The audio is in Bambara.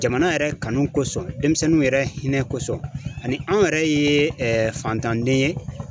Jamana yɛrɛ kanu kosɔn, denmisɛnninw yɛrɛ hinɛ kosɔn, ani anw yɛrɛ ye fantanden ye.